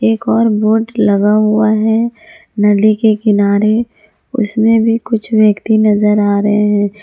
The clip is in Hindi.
एक और वोट लगा हुआ है नदी के किनारे उसमें भी कुछ व्यक्ति नजर आ रहे हैं।